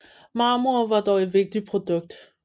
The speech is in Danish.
Marmor var dog et vigtigt produkt